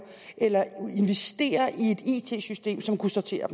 eller have investeret i et it system som kunne sortere